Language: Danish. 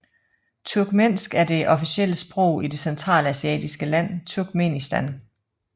Turkmensk er det officielle sprog i det centralasiatiske land Turkmenistan